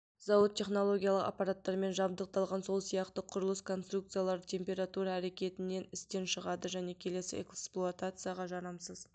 зауыт технологиялық аппараттармен жабдықталған сол сияқты құрылыс конструкциялары температура әрекетінен істен шығады және келесі эксплуатацияға жарамсыз